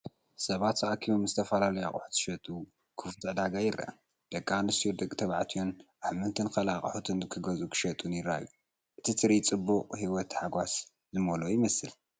ሰባት ተኣኪቦም ዝተፈላለዩ ኣቑሑት ዝሸጡሉ ክፉት ዕዳጋ ይረአ። ደቂ ኣንስትዮን ደቂ ተባዕትዮን ኣሕምልትን ካልእ ኣቑሑትን ክገዝኡን ክሸጡን ይረኣዩ። እቲ ትርኢት ጽዑቕን ህይወት ታሐጓስ ዝመልኦን ይመስል።